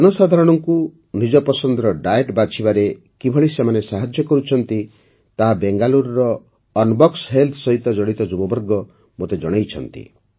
ଜନସାଧାରଣଙ୍କୁ ନିଜ ପସନ୍ଦର ଡାଏଟ୍ ବାଛିବାରେ କିଭଳି ସେମାନେ ସାହାଯ୍ୟ କରୁଛନ୍ତି ତାହା ବେଙ୍ଗାଲୁରୁର ଅନ୍ବକ୍ସ୍ ହେଲ୍ଥ ସହ ଜଡ଼ିତ ଯୁବବର୍ଗ ମୋତେ ଜଣାଇଛନ୍ତି